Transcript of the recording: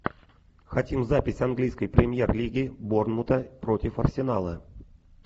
хотим запись английской премьер лиги борнмута против арсенала